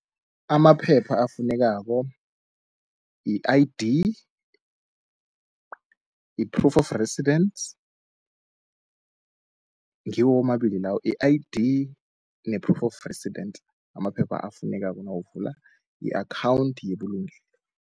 Amaphepha afunekako yi-I_D, yi-proof of residence, ngiwo amabili lawo yi-I_D ne-proof of resident amaphepha afunekako nawuvula i-akhawunthi yebulugelo.